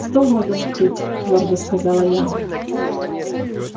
стол надо накрыть твёрдо сказала я